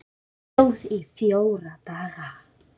Hún stóð í fjóra daga.